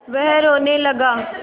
वह रोने लगा